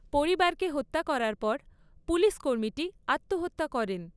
পরিবারকে হত্যা করার পর পুলিশ কর্মীটি আত্মহত্যা করেন।